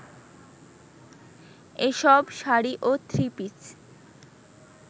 এসব শাড়ি ও থ্রিপিস